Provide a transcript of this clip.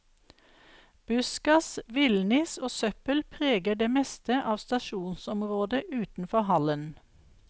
Buskas, villniss og søppel preger det meste av stasjonsområdet utenfor hallen.